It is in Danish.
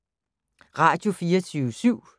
Radio24syv